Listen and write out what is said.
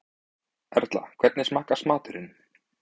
Erla, hvernig smakkast maturinn?